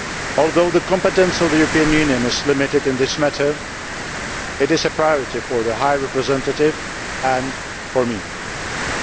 Although the competence of the European Union is limited in this matter, it is a priority for the High Representative and for myself.